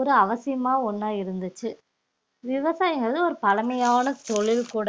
ஒரு அவசியமா ஒண்ணா இருந்துச்சு விவசாயங்கள்ல ஒரு பழமையான தொழில் கூட